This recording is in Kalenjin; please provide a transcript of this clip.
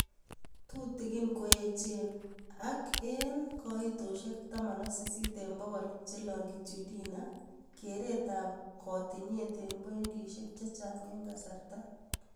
Tutikini koechen, ak 18% kito che longitudinal(keretab katinyet eng poidishek chechang eng kasarta